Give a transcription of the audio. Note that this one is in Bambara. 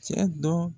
Cɛ dɔ